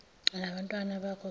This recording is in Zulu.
nabantwana bakho geza